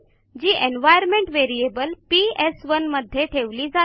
जी environment variable पीएस1 मध्ये ठेवली जाते